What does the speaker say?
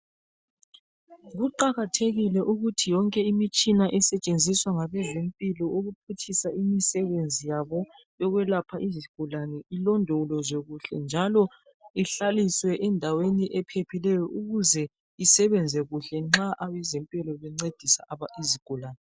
Kuqakathekile ukuthi yonke imitshina esetshenziswa ngabezempilo ukuphutshisa imisebenzi yabo eyokwelapha izigulane ilondoloze njalo ihlaliswe endaweni ephephileyo ukuze isebenze kuhle nxa abezempilo bencediswe izigulani